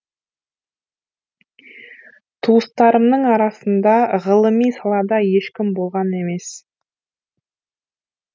туыстарымның арасында ғылыми салада ешкім болған емес